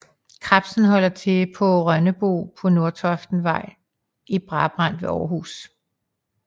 Kredsen holder til på Rønnebo på Nordentoftsvej i Brabrand ved Århus